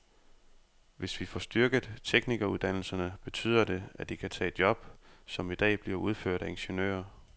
Hvis vi får styrket teknikeruddannelserne, betyder det, at de kan tage job, som i dag bliver udført af ingeniører.